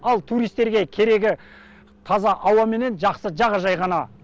ал туристерге керегі таза ауа мен жақсы жағажай ғана